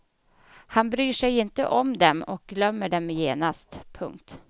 Han bryr sig inte om dem och glömmer dem genast. punkt